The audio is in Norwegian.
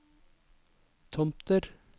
Tomter